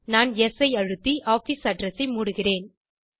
நான் யெஸ் ஐ அழுத்தி ஆஃபிஸ் அட்ரெஸ் ஐ மூடுகிறேன்